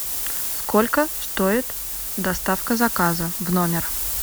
сколько стоит доставка заказа в номер